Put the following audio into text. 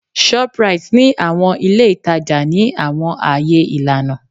Shoprite ni awọn ile itaja ni awọn aaye ilana